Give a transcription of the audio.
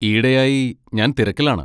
ഈയിടെയായി ഞാൻ തിരക്കിലാണ്.